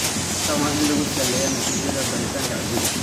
Tani waa in lagu saleeyaa natiijada baaritaanka ciidda."